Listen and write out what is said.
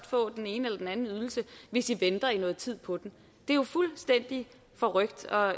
få den ene eller anden ydelse hvis i venter i noget tid på den det er jo fuldstændig forrykt og